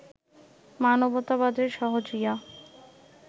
মানবতাবাদের সহজিয়া